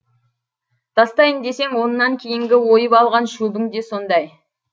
тастайын десең онан кейінгі ойып алған шөбің де сондай